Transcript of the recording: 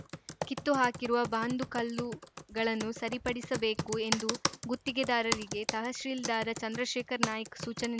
ಕಿತ್ತು ಹಾಕಿರುವ ಬಾಂದು ಕಲ್ಲುಗಳನ್ನು ಸರಿಪಡಿಸಬೇಕು ಎಂದು ಗುತ್ತಿಗೆದಾರರಿಗೆ ತಹಸೀಲ್ದಾರ್‌ ಚಂದ್ರಶೇಖರ ನಾಯ್ಕ ಸೂಚನೆ